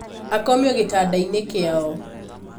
Akomio gĩtanda-inĩkĩao.